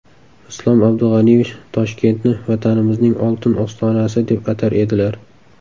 Islom Abdug‘aniyevich Toshkentni Vatanimizning oltin ostonasi, deb atar edilar.